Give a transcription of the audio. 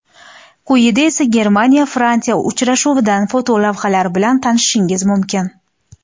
Quyida esa Germaniya Fransiya uchrashuvidan fotolavhalar bilan tanishishingiz mumkin.